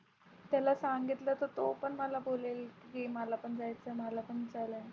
त्याला सांगितलं तर तो पण मला बोलेल की मलापण जायचं आहे मलापण .